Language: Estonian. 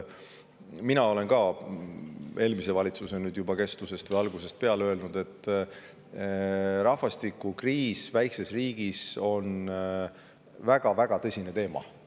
Mina olen ka nüüd juba eelmise valitsuse algusest peale öelnud, et rahvastikukriis väikses riigis on väga-väga tõsine teema.